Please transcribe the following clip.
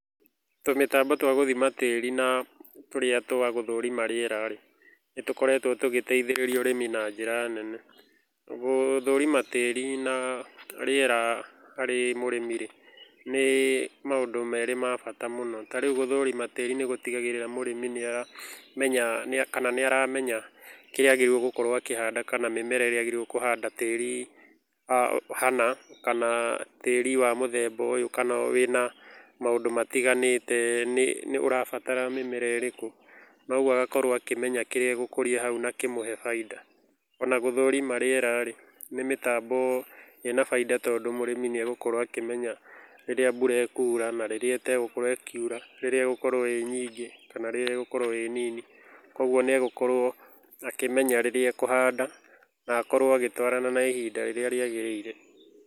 Tũmĩtambo tw gũthima tĩĩri na tũrĩa twa gũthrima rĩera rĩ, nĩ tũkoretũo tũgĩteithĩrĩria ũrĩmi na njĩra nene. Gũthũrima tĩĩri na rĩera harĩ mũrĩmi nĩ maũndũ ma bata mũno. Tarĩu gũthima tĩĩri nĩ gũtigagĩrĩra mũrĩmi nĩ aramenya kana nĩ aramenya kĩrĩa agĩrĩirũo nĩ kũhanda kana mĩmera ĩrĩa agĩrĩirũo nĩ kũhanda tĩĩri hana kana tĩĩri wa mũthemba ũyũ kana wĩna maũndũ matiganĩte nĩ ũrabatara mĩmera ĩrĩkũ. Noguo agakorũo akĩmenya kĩrĩa egũkũria hau na kĩmũhe baida. Ona gũthũrima rĩera rĩ, nĩ mĩbango ĩna baida tondũ mũrĩmi nĩ egũkorũo akĩmenya rĩrĩa mbura ĩkura na rĩrĩa ĩtegũkoirũo ĩkiura, rĩrĩa ĩgũkorũo ĩĩ nyingĩ kana rĩrĩa ĩgũkorũo ĩĩ nini, kwoguo ni egũkorũo akĩmenya rĩrĩa ekũhanda na akorũo agĩtũarana na ihinda rĩrĩa rĩagĩrĩire.